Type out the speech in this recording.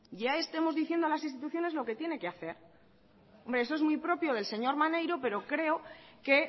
ya estemos diciendo a las instituciones lo que tienen que hacer hombre eso es muy propio del señor maneiro pero creo que